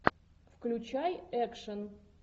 включай экшн